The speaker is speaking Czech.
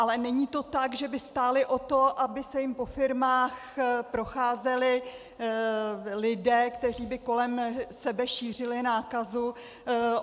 Ale není to tak, že by stály o to, aby se jim po firmách procházeli lidé, kteří by kolem sebe šířili nákazu.